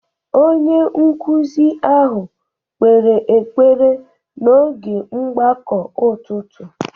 Onye nkụzi ahụ kpere ekpere n’oge mgbakọ ụtụtụ